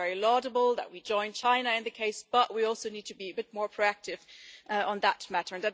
It's very laudable that we join China in the case, but we also need to be a bit more proactive on that matter.